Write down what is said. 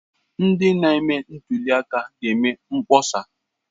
Ndị na-eme ntuli aka ga-eme mkpọsa.